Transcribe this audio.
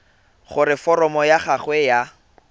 gore foromo ya gago ya